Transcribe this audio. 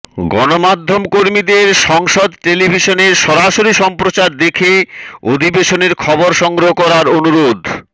গণমাধ্যমকর্মীদের সংসদ টেলিভিশনের সরাসরি সম্প্রচার দেখে অধিবেশনের খবর সংগ্রহ করার অনুরোধ